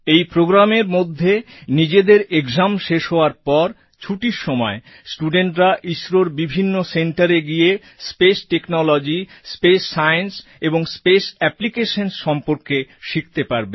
এই প্রোগ্রামের মধ্যে নিজেদের এক্সাম শেষ হওয়ার পর ছুটির সময় studentরা ইসরোর বিভিন্ন centreএ গিয়ে স্পেস টেকনোলজি স্পেস সায়েন্স এবং স্পেস অ্যাপ্লিকেশনস সম্পর্কে শিখতে পারবে